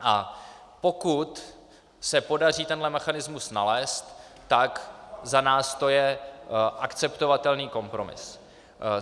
A pokud se podaří tenhle mechanismus nalézt, tak za nás to je akceptovatelný kompromis.